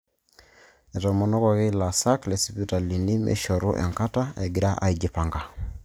Etomonoki ilaasak lesipitalini meishoru enkata egirai aijipanga